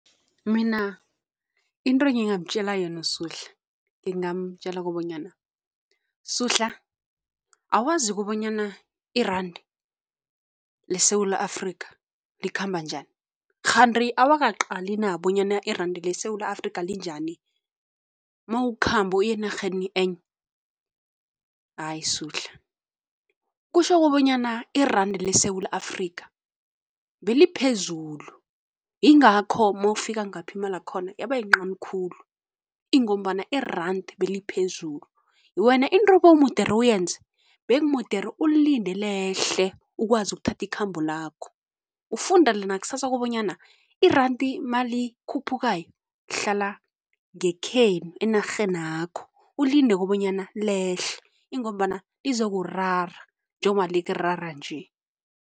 Mina into engingamtjela yona uSuhla, ngingamtjela kobanyana, Suhla awazi kobanyana i-rand leSewula Afrika likhamba njani? Kghani awakaqali na bonyana i-rand leSewula Afrika linjani mawukhamba uya enarheni enye? Hayi Suhla kutjho kobanyana i-rand leSewula Afrika beliphezulu, yingakho mawufika ngapha imalakhona yabayincani khulu ingombana i-rand beliphezulu. Wena into ebewudere uyenze, bekumodere ulilinde lehle ukwazi ukuthatha ikhambo lakho. Ufundele nakusasa kobanyana irandi malikhuphukayo, hlala ngekhenu, enarhenakho, ulinde kobanyana lehle ingombana lizokurara njengoba likuarara nje.